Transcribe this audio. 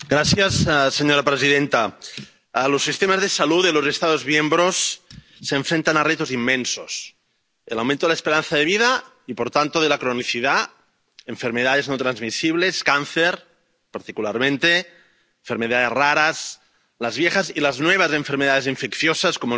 Señora presidenta, los sistemas de salud de los Estados miembros se enfrentan a retos inmensos el aumento de la esperanza de vida y, por tanto, de la cronicidad, enfermedades no transmisibles —cáncer, particularmente—, enfermedades raras, las viejas y las nuevas enfermedades infecciosas como el COVID,